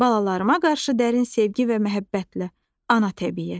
Balalarıma qarşı dərin sevgi və məhəbbətlə, Ana Təbiət.